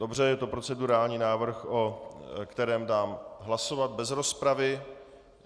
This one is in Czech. Dobře, je to procedurální návrh, o kterém dám hlasovat bez rozpravy.